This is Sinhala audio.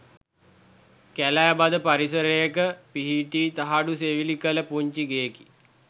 කැලෑ බද පරිසරයක පිහිටි තහඩු සෙවිලි කළ පුංචි ගෙයකි.